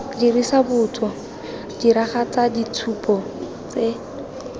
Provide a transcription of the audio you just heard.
dirisa botso diragatsa ditshupo tse